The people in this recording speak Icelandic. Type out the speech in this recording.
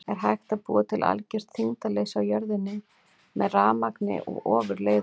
Er hægt að búa til algjört þyngdarleysi á jörðinni með rafmagni og ofurleiðurum?